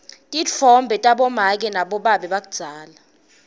titfombe tabomake nabobabe takudzala